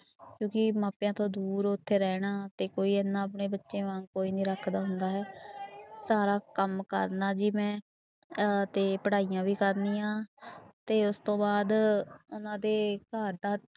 ਕਿਉਂਕਿ ਮਾਪਿਆਂ ਤੋਂ ਦੂਰ ਉੱਥੇ ਰਹਿਣਾ ਤੇ ਕੋਈ ਇੰਨਾ ਆਪਣੇ ਬੱਚੇ ਵਾਂਗ ਕੋਈ ਨੀ ਰੱਖਦਾ ਹੁੰਦਾ ਹੈ ਸਾਰਾ ਕੰਮ ਕਰਨਾ ਜੀ ਮੈਂ ਅਹ ਤੇ ਪੜ੍ਹਾਈਆਂ ਵੀ ਕਰਨੀਆਂ ਤੇ ਉਸ ਤੋਂ ਬਾਅਦ ਉਹਨਾਂ ਦੇ ਘਰ ਦਾ